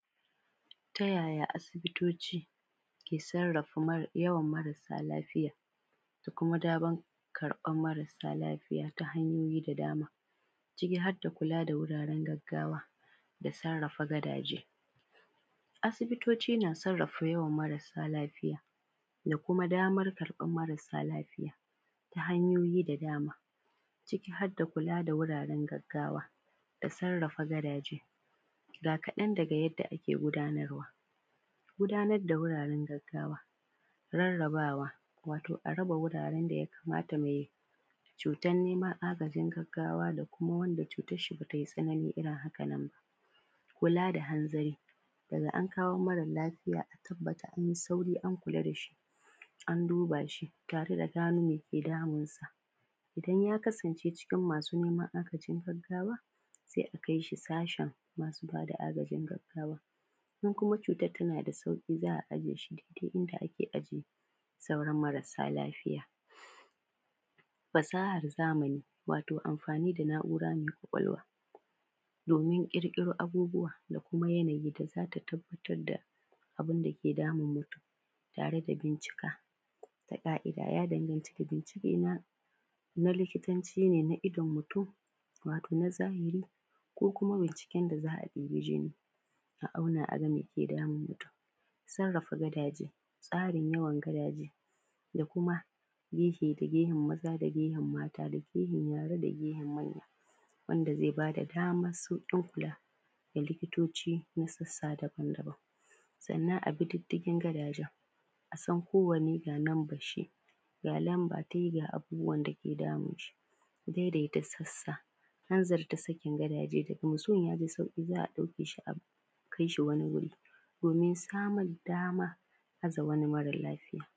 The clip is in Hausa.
Tayaya asibitoci ke sarrafa mara, yawan marasa lafiya da kuma damar ɓarban marasa lafiya ta hanyoyi da dama? Ciki har da kula da wuraren gaggawa da sarrafa gadaje. Asibitoci na sarrafa yawan marasa lafiya da kuma damar karɓan marasa lafiya ta hanyoyi da dama ciki har da kula da wuraran gaggawa da sarrafa gadaje, ga kaɗan daga yadda ake gudanarwa. Gudanar da wuraran gaggawa, rarrabawa, wato a raba wuraren daya kamata me cutan nema, agajin gaggawa da kuma wanda cutan shi bate tsanani ba. Kula da hanzari, daga an kawo mare lafiya a tabbata anyi sauri an kula dashi an duba shi, tare da gano meke damunsa. Idan ya kasance cikin masu nema agajin gaggawa sai a kaishi sashin masu bada agajin gaggawa, in kuma cutan tana da sauƙi za a aje shi duk inda ake aje sauran masara lafiya. Fasahar zamani, wato amfani da na’ura mai ƙwaƙwalwa domin ƙirƙiro abubuwa da kuma yana yadda zata tabbatar da abunda ke damun mutum tare da bincika da ka’ida, ya danganci da bincike na, na likitanci na idon mutum, wato na zahiri ko kuma bincike da za a debi jini, a auna aga meke damun mutum. Sarrafa gadaje, tsarin yawan gadaje, da kuma gehe da gehen maza da gehen mata, gehen yara, da gehen manya wanda zai bada daman sauƙin kula ga likitoci na sassa dabam-daban, sannan abi didigin gadajen, asan kowane ga numbarshi, ga lamba tai ga abubuwan dake damunshi. Daidaita sassa, hanzarta sakin gadaje, daga mutum ya ji sauƙi za a ɗauke shi akai shi wani wuri domin samun dama aza wani mara lafiya.